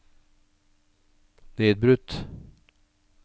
nedbrutt